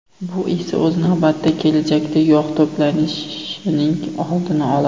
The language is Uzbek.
Bu esa o‘z navbatida kelajakda yog‘ to‘planishining oldini oladi.